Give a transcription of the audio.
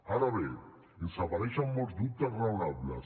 ara bé ens apareixen molts dubtes raonables